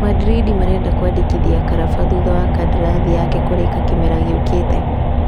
Madrindi marenda kũmũandĩkithia Karaba thutha wa kandarathi yake kũrĩīka kĩmera gĩũkite.